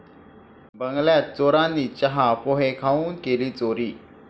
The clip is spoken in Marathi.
बंगल्यात चोरांनी चहा, पोहे खाऊन केली चोरी